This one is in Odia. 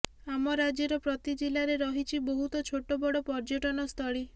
ଆମ ରାଜ୍ୟର ପ୍ରତି ଜିଲ୍ଲାରେ ରହିଛି ବହୁତ ଛୋଟବଡ ପର୍ଯ୍ୟଟନସ୍ଥଳୀ